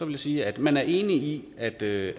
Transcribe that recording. jeg sige at man er enig i at det